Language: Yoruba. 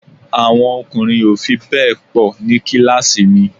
Àwọn ọkùnrin ò fi bẹ́ẹ̀ pọ̀ ní kíláàsì mi